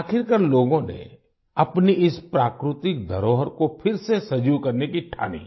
आखिरकार लोगों ने अपनी इस प्राकृतिक धरोहर को फिर से सजीव करने की ठानी